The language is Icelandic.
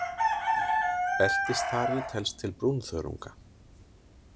Beltisþari telst til brúnþörunga.